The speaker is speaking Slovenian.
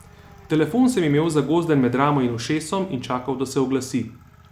Telefon sem imel zagozden med ramo in ušesom in čakal, da se oglasi.